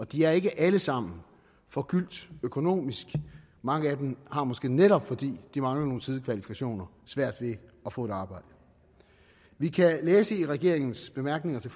de er ikke alle sammen forgyldt økonomisk mange af dem har måske netop fordi de mangler nogle sidekvalifikationer svært ved at få et arbejde vi kan læse i regeringens bemærkninger til